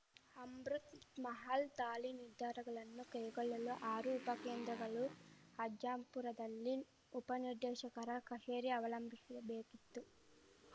ಅಮೃತ್‌ ಮಹಲ್‌ ತಾಳಿ ನಿರ್ಧಾರಗಳನ್ನು ಕೈಗೊಳ್ಳಲು ಆರು ಉಪಕೇಂದ್ರಗಳು ಅಜ್ಜಂಪುರದಲ್ಲಿ ಉಪನಿರ್ದೇಶಕರ ಕಚೇರಿ ಅವಲಂಬಿಶಬೇಕಿತ್ತು